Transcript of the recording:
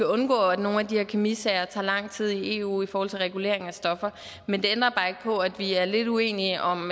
undgå at nogle af de her kemisager tager lang tid i eu i forhold til regulering af stoffer men det ændrer bare ikke på at vi er lidt uenige om